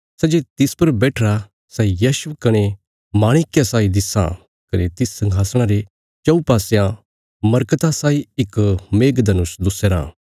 सै जे तिस पर बैठिरा सै यशब कने माणिक्य साई दिस्सां कने तिस संघासणा रे चऊँ पासयां मरकता साई इक मेघधनुष दुस्याराँ